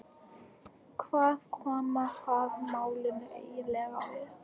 Hvað koma það málinu eiginlega við?